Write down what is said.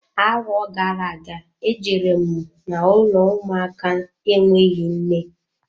Arọ gara aga, e jere m n'ụlọ ụmụaka enweghị nne.